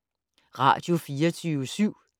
Radio24syv